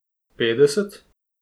Petdeset?